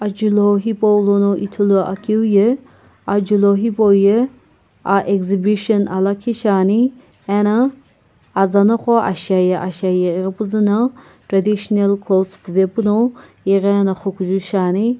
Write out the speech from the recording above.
ajulho hipaulono ithuluakeu ye ajulho hipau ye aa exhibition aa lakhi shiani ena aza noqo ashiaye ashiaye ighipuzu na traditional clothes puvepuno ighena xukuju shiani.